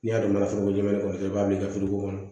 N'i y'a dɔn ka foro kɛnɛ kɔrɔ dɔrɔn i b'a bila i ka kɔnɔ